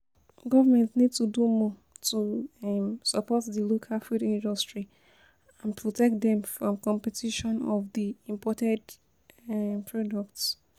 Government need to do more to um support di local food industry and protect dem from competition of di imported um products.